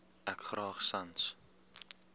ek graag sans